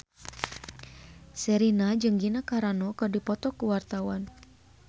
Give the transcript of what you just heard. Sherina jeung Gina Carano keur dipoto ku wartawan